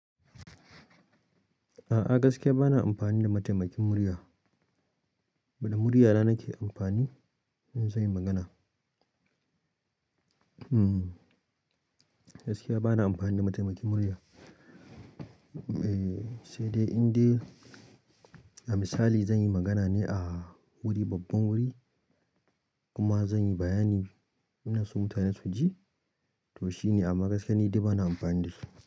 A'a gaskiya bana amfani da mataimakin murya, bana murya na nake amfani in zan yi magana. Hmm gaskiya bana amfani da mataimakin murya eh, sai dai in dai a misali zan yi magana ne a wuri babban wuri kuma zan yi bayani ina so mutane su ji to shine amma gaskiya ni dai bana amfani da shi.